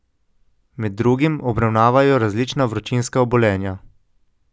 Med drugim obravnavajo različna vročinska obolenja.